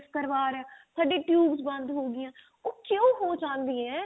ਕਰਵਾ ਰਹੇ ਹਾਂ ਕਦੀ tubesਬੰਦ ਉਹ ਕਿਉਂ ਹੋ ਜਾਂਦੀਆਂ